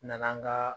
Nana an ka